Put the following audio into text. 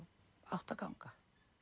átti að ganga